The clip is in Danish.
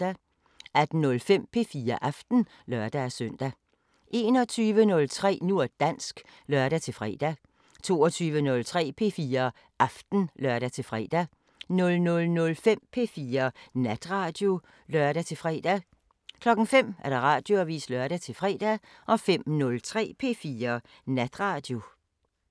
18:05: P4 Aften (lør-søn) 21:03: Nu og dansk (lør-fre) 22:03: P4 Aften (lør-fre) 00:05: P4 Natradio (lør-fre) 05:00: Radioavisen (lør-fre) 05:03: P4 Natradio